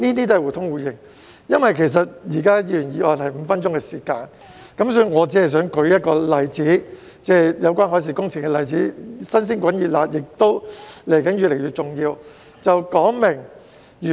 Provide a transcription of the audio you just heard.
由於每位議員就議員議案的辯論只有5分鐘發言時間，所以我只想舉一個有關海事工程的例子，是"新鮮滾熱辣"的，也是未來越來越重要的。